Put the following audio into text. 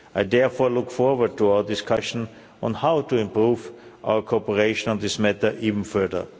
I therefore look forward to our discussion on how to improve our cooperation on this matter even further.